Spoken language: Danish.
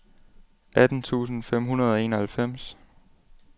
atten tusind fem hundrede og enoghalvfems